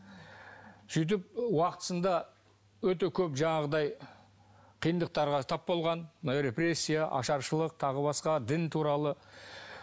сөйтіп уақытысында өте көп жаңағыдай қиындықтарға тап болған мынау репрессия ашаршылық тағы басқа дін туралы